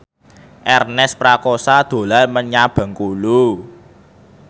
Ernest Prakasa dolan menyang Bengkulu